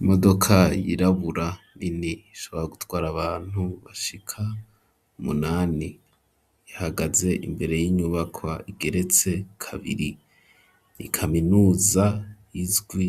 Imodoka yirabura nini ishobora gutwara abantu bashika umunani ihagaze imbere y'inyubakwa igeretse kabiri nikaminuza izwi